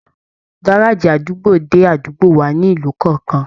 Gárájí àdúgbò dé àdúgbò wà nílùú kọọkan.